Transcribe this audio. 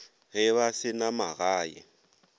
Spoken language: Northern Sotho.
ge ba se na magae